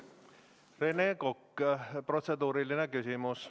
Rene Kokk, protseduuriline küsimus.